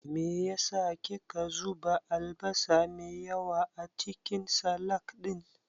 Me yasa ki ka zuba albasa me yawa acikin salak ɗin.